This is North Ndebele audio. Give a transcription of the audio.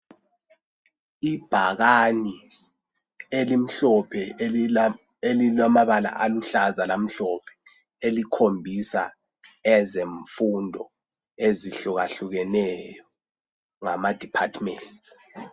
Ibhakani elimhlophe elilamabala aluhlaza lamhlophe elikhombisa ezemfundo ezihlukahlukeneyo ngama departments.